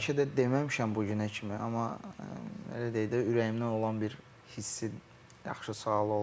Mən bəlkə də deməmişəm bu günə kimi, amma elə deyək də, ürəyimdən olan bir hissi yaxşı sual oldu.